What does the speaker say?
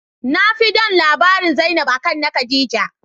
Nafi don labaran zainab, Akan na Khadijah.